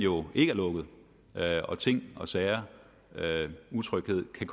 jo ikke er lukket og ting og sager og utryghed kan